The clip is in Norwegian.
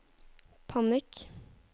panikk